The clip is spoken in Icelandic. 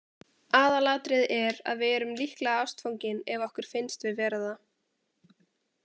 Aðalatriðið er að við erum líklega ástfangin ef okkur finnst við vera það!